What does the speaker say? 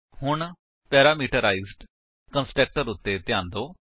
ਹੁਣ parameterised constructor ਉੱਤੇ ਧਿਆਨ ਦਿਓ